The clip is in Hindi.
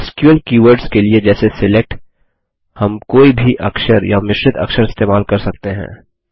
एसक्यूएल कीवर्ड्स के लिए जैसे सिलेक्ट हम कोई भी अक्षर या मिश्रित अक्षर इस्तेमाल कर सकते हैं